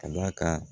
Ka d'a kan